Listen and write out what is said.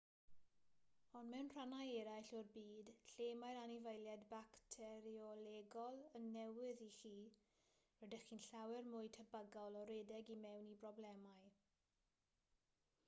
ond mewn rhannau eraill o'r byd lle mae'r anifeiliaid bacteriolegol yn newydd i chi rydych chi'n llawer mwy tebygol o redeg i mewn i broblemau